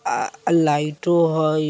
आह अ लाइटों हई |